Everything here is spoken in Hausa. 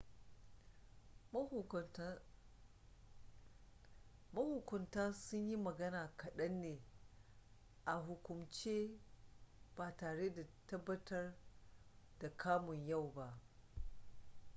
mahukunta sun yi magana kaɗan ne a hukumance ba tare da tabbatar da kamun yau ba